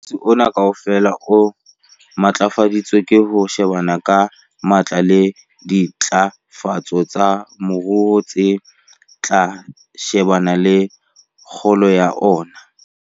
Mosebetsi ona kaofela o matlafaditswe ke ho shebana ka matla le dintlafatso tsa moruo tse tla shebana le kgolo ya ona.